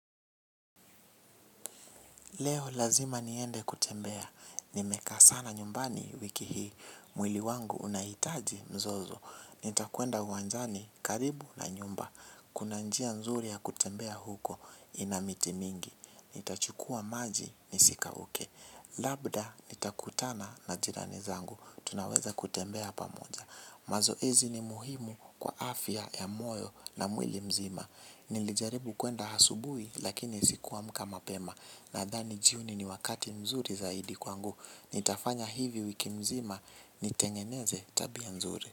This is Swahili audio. Leo lazima niende kutembea, nimekaa sana nyumbani wiki hii, mwili wangu unahitaji mzozo, nitakwenda uwanjani karibu na nyumba, kuna njia nzuri ya kutembea huko ina miti mingi, nitachukua maji nisikauke, labda nitakutana na jirani zangu, tunaweza kutembea pamoja. Mazoezi ni muhimu kwa afya ya moyo na mwili mzima nilijaribu kwenda asubui lakini sikuamka mapema nadhani jioni ni wakati mzuri zaidi kwangu nitafanya hivi wiki mzima nitengeneze tabia nzuri.